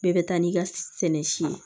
Bɛɛ bɛ taa n'i ka sɛnɛ si ye